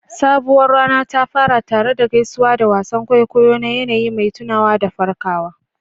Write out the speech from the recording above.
Sabuwar rana ta fara tare da gaisuwa da wasan kwaikwayo na yanayi mai tunawa da farkawa.